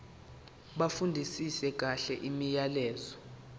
bafundisise kahle imiyalelo